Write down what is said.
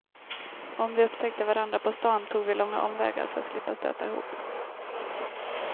Om vi upptäckte varandra på stan tog vi långa omvägar för att slippa stöta ihop.